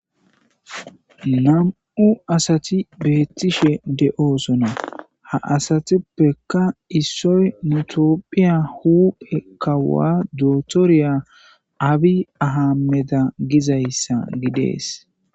Nam'u asati beettishe de'oosona ha asatippeka issoy nutopphiya hupe kawa dootoriya abi ahameda gizayssa gidees